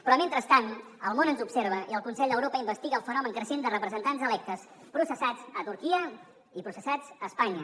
però mentrestant el món ens observa i el consell d’europa investiga el fenomen creixent de representants electes processats a turquia i processats a espanya